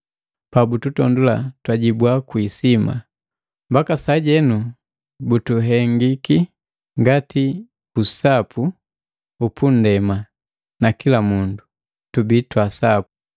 pabututondoo, tujibu kwi isima. Mbaka sajenu bututendi ngati usapu upundema nakila mundu twepani twaasapu!